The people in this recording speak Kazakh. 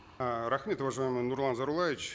ііі рахмет уважаемый нурлан зайроллаевич